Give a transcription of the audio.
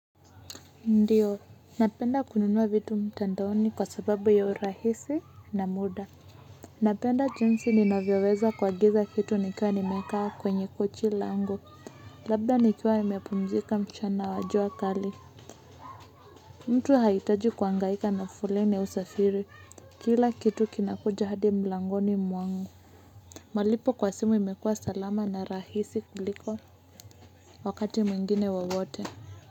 Ndiyo, napenda kununua vitu mtandaoni kwa sababu ya urahisi na muda. Napenda jinsi ninavyoweza kuagiza kitu nikiwa nimekaa kwenye kochi langu. Labda nikiwa nimepumzika mchana wajua kali. Mtu hahitaji kuhangaika na foleni au usafiri. Kila kitu kinakuja hadi mlangoni mwangu. Malipo kwa simu imekua salama na rahisi kuliko wakati mwingine wo wote.